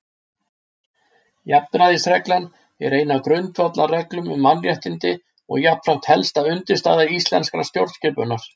Jafnræðisreglan er ein af grundvallarreglum um mannréttindi og jafnframt helsta undirstaða íslenskrar stjórnskipunar.